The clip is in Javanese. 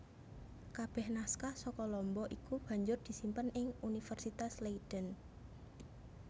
Kabeh naskah saka Lombok iku banjur disimpen ing Universitas Leiden